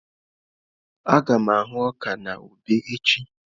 Aga m ahụ́ ọka na ube echi.